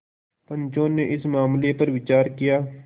पंचो ने इस मामले पर विचार किया